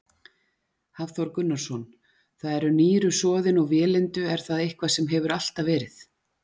Hafþór Gunnarsson: Það eru nýru soðin og vélindu, er það eitthvað sem hefur alltaf verið?